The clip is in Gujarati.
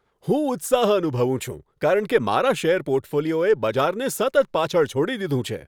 હું ઉત્સાહ અનુભવું છું, કારણ કે મારા શેર પોર્ટફોલિયોએ બજારને સતત પાછળ છોડી દીધું છે.